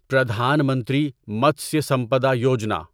Pradhan Mantri Matsya Sampada Yojana